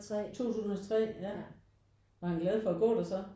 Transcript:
2003 ja var han glad for at gå der så?